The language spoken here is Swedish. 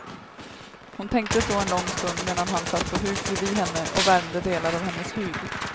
Hon tänkte så en lång stund medan han satt på huk bredvid henne och värmde delar av hennes hud.